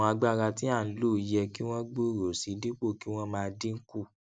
àwọn agbára tí a n lò yẹ kí wọn gbòòrò sí i dípò kí wọn máa dínkù